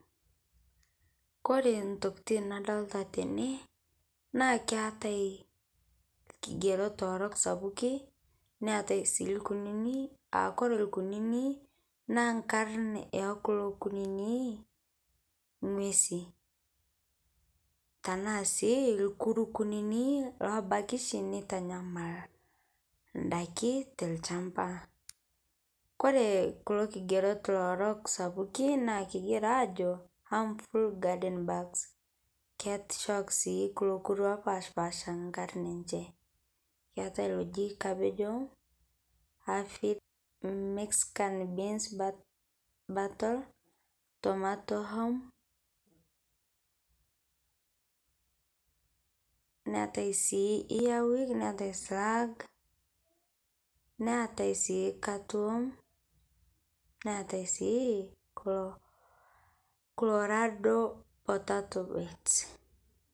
Kore ntokitin nadolita tene naa keetai lkigeroto orook sapukii neetai sii lkunini, aa kore lkunini naa nkaarin e kuloo nkunini ng'uesi tana sii lkuruu kuninii loobaki shii neitanyamal ndaakin te lchambaa. Kore kuloo lkijeroot orook sapukii naa kegira ajoo Harmful Garden Bugs. Keetishook shii kuloo lkuruu lopaasha nkaarin enchee. Keetai cabbage worm, Alphids, Mexican been bettle, tomato warm. Neetai sii Earwig neetai slug, neetai sii Catworm, neetai sii colorado parteto beete.